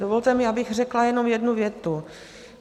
Dovolte mi, abych řekla jenom jednu větu.